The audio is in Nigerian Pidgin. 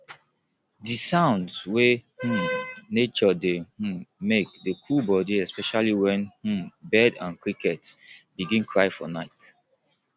di sounds wey um nature dey um make dey cool body especially wen um bird and cricket begin cry for nite